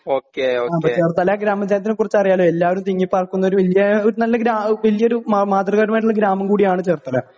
okay okay Cherthala ഗ്രാമത്തെ കുറിച്ച് അറിയാലോ എല്ലാവരും തിങ്ങി പാർക്കുന്നനല്ലൊരു മാതൃകാ പരമായ ഗ്രാമം കൂടിയാണ് ചേർത്തല